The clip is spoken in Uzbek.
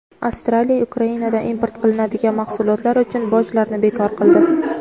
Avstraliya Ukrainadan import qilinadigan mahsulotlar uchun bojlarni bekor qildi.